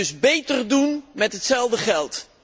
Dus beter doen met hetzelfde geld.